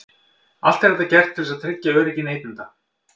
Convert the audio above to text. Allt er þetta gert til þess að tryggja öryggi neytenda.